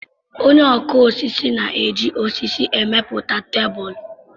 Onye ọkụ osisi na-eji osisi emepụta tebulu.